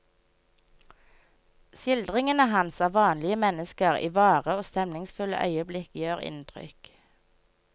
Skildringene hans av vanlige mennesker i vare og stemningsfulle øyeblikk gjør inntrykk.